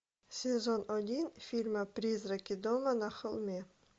сезон один фильма призраки дома на холме